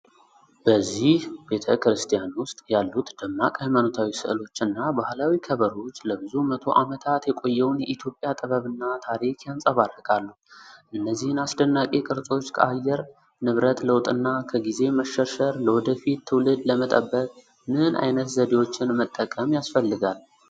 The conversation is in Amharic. በዚህ ቤተ ክርስቲያን ውስጥ ያሉት ደማቅ ሃይማኖታዊ ሥዕሎች እና ባህላዊ ከበሮዎች ለብዙ መቶ ዓመታት የቆየውን የኢትዮጵያ ጥበብና ታሪክ ያንጸባርቃሉ። እነዚህን አስደናቂ ቅርሶች ከአየር ንብረት ለውጥና ከጊዜ መሸርሸር ለወደፊት ትውልድ ለመጠበቅ ምን አይነት ዘዴዎችን መጠቀም ያስፈልጋል?